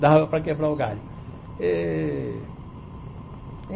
Dava para quebrar o galho eh.